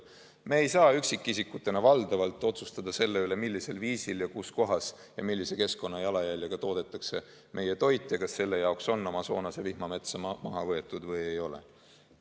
Me ei saa üksikisikutena valdavalt otsustada selle üle, millisel viisil ja kus kohas ja millise keskkonnajalajäljega toodetakse meie toit ja kas selle jaoks on Amazonase vihmametsa maha võetud või ei ole.